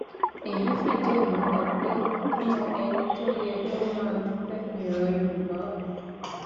èyí fìdí ẹ múlẹ pé nínú ẹni tó yẹ kí ó máa dúpẹ ni ìran yorùbá wà